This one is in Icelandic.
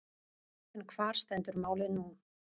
En hvar stendur málið nú?